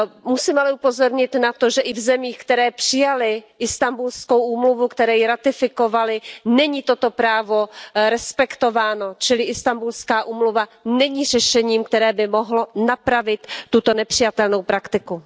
Musím ale upozornit na to, že i v zemích, které přijaly Istanbulskou úmluvu, které ji ratifikovaly, není toto právo respektováno, čili Istanbulská úmluva není řešením, které by mohlo napravit tuto nepřijatelnou praktiku.